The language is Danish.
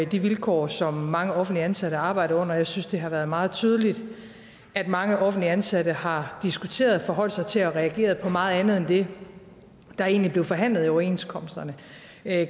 de vilkår som mange offentligt ansatte arbejder under jeg synes det har været meget tydeligt at mange offentligt ansatte har diskuteret forholdt sig til og reageret på meget andet end det der egentlig blev forhandlet i overenskomsterne